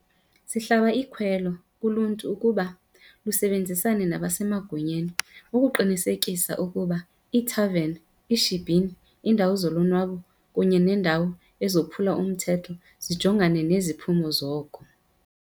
Sihlaba ikhwelo kuluntu ukuba lusebenzisane nabasemagunyeni ukuqinisekisa ukuba iithaveni, iishibhini, iindawo zolonwabo kunye neendawo ezophula umthetho zijongana neziphumo zoko.